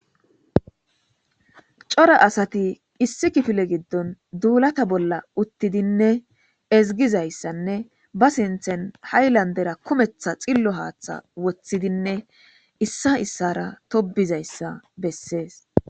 Coora assati issi kifile gidoni dulata utidinne ezigezinne ba sinthan hayilandera kumetha xilo hatha wothidine issa issara tobidayissa besesi